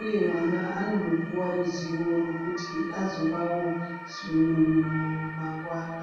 uye vana anopuwa ruzivo rwekuti azovawo umwe munhu mangwana.